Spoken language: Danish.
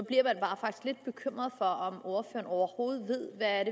lidt bekymret for om ordføreren overhovedet ved hvad